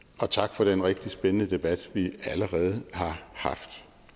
og tak for den rigtig spændende debat vi allerede har haft